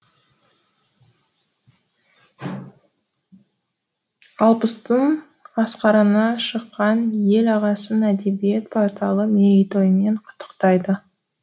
алпыстың асқарына шыққан ел ағасын әдебиет порталы мерейтойымен құттықтайды